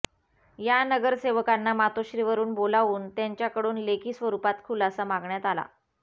या नगरसेवकांना मातोश्रीवरून बोलावून त्यांच्याकडून लेखी स्वरुपात खुलासा मागण्यात आला